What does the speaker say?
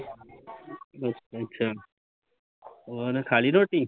ਅੱਛਾ ਅੱਛਾ ਭੂਆ ਨੇ ਖਾਲੀ ਰੋਟੀ